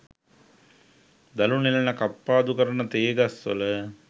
දළු නෙලන කප්පාදු කරන තේ ගස්වල